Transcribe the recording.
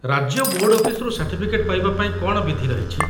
ରାଜ୍ୟ ବୋର୍ଡ ଅଫିସରୁ ସାର୍ଟିଫିକେଟ୍ ପାଇବାପାଇଁ କ'ଣ ବିଧି ରହିଛି?